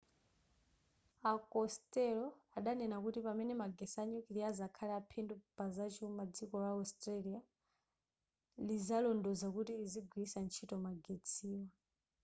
a costello adanena kuti pamene magetsi a nyukiliya azakhale aphindu pazachuma dziko la australia lizalondoloza kuti lizigwiritsa ntchito magetsiwa